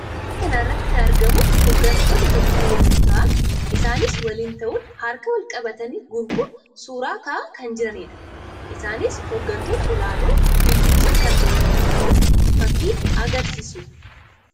Fakkii kana irratti kan argamu hoggantoota Itoophiyaa yammuu ta'an; isaannis waliin ta'uun harka wal qabatanii gurmuun suuraa ka'aa kan jiranii dha. Isaannis hoggantoota ol'aanoo biyyichaa kan ta'an ta'uu fakkii agarsiisuu dha.